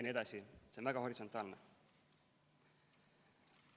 See on väga horisontaalne.